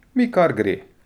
Mi kar gre.